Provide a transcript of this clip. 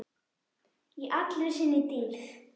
Í allri sinni dýrð.